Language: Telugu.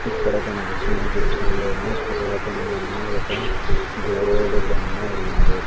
ఇక్కడ కనిపిస్తున్న చిత్రంలోను పురాతనమైన ఒక దేవుడి బొమ్మ ఉన్నది.